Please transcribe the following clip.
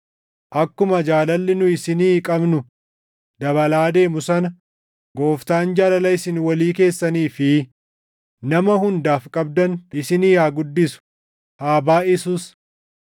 Akkuma jaalalli nu isinii qabnu dabalaa deemu sana Gooftaan jaalala isin walii keessanii fi nama hundaaf qabdan isinii haa guddisuu; haa baayʼisus.